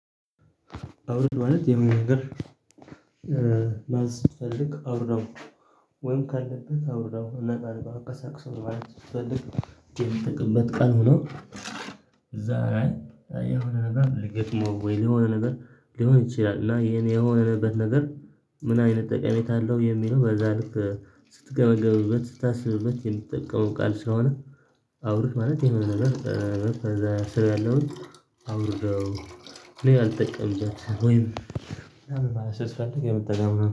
አውርድ ማለት የሆነ ነገር ማዘዝ ስትፈልግ አውርደው ወይም ካለበት አውርደው እና ልታንቀሳቅሰው ማለት ስትበፈልግ። የምትጠቀምበት ቃል ሆኖ እዛ ላይ የሆነ ነገር ሊገጥመው ወይ የሆነ ነገር ሊሆን ይችላል። እና ይሄን የሆነበት ነገር ምን አይነት ጠቀሜታ አለው የሚለው በዛ ልክ ስትገበገብበት ስታስብበት የምትጠቀመው ቃል ስለሆነ። አውርህ ማለት የሆነ ነገር ከዛ ስራ ያለውን አውርደው እኔ አልጠቀምበትም። ወይም ስያስፈልግ የምትጠቀምበት